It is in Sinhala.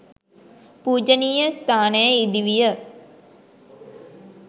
පූජණීය ස්ථානය ඉඳිවිය.